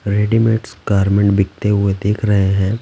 Readymades garment बिकते हुए देख रहे हैं ।